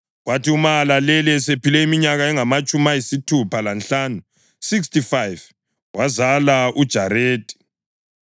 Kwathi uMahalaleli esephile iminyaka engamatshumi ayisithupha lanhlanu (65), wazala uJaredi.